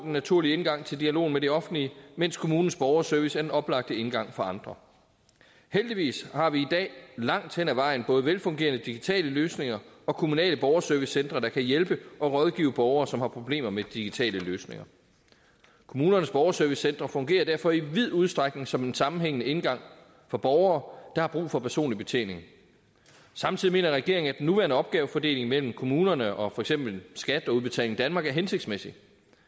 naturlige indgang til dialog med det offentlige mens kommunernes borgerservice er den oplagte engang for andre heldigvis har vi i dag langt hen ad vejen både velfungerende digitale løsninger og kommunale borgerservicecentre der kan hjælpe og rådgive borgere som har problemer med digitale løsninger kommunernes borgerservicecentre fungerer derfor i vid udstrækning som en sammenhængende indgang for borgere der har brug for personlig betjening samtidig mener regeringen at den nuværende opgavefordeling mellem kommunerne og for eksempel skat og udbetaling danmark er hensigtsmæssig